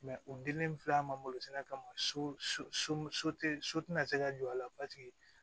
u dilen filɛ an ma kama so so so tɛ na se ka jɔ a la